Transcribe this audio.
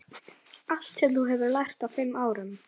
Allt sem þú hefur lært á fimm árum.